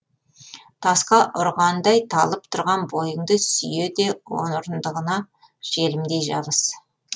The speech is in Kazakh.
тасқа ұрғандай талып тұрған бойыңды сүйе де орындығыңа желімдей жабыс